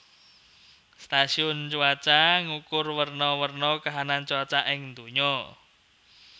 Stasiun cuaca ngukur werna werna kahanan cuaca ing donya